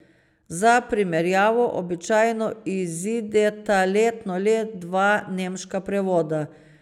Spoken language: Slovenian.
Za primerjavo, običajno izideta letno le dva nemška prevoda.